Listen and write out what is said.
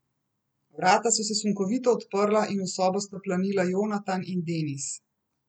Vrata so se sunkovito odprla in v sobo sta planila Jonatan in Denis.